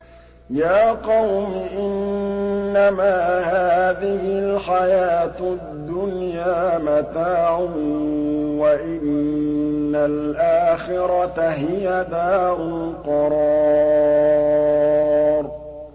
يَا قَوْمِ إِنَّمَا هَٰذِهِ الْحَيَاةُ الدُّنْيَا مَتَاعٌ وَإِنَّ الْآخِرَةَ هِيَ دَارُ الْقَرَارِ